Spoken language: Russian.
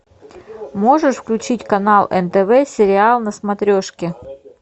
можешь включить канал нтв сериал на смотрешке